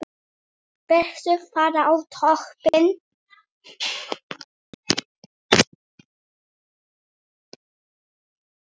Viltu fara á toppinn?